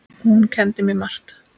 Og hún kenndi mér margt.